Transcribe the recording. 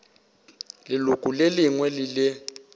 leloko le lengwe le le